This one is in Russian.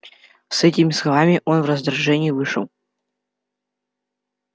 с этими словами он в раздражении вышел